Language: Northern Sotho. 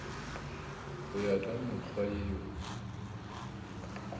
go ya ka mekgwa yeo